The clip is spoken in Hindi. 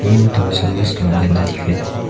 तीन ठो गंदा दिखाई दे रहा है।